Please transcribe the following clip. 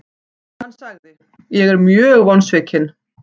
Hann sagði:, Ég er mjög vonsvikinn.